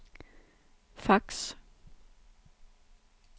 fax